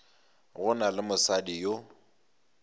go na le mosadi yo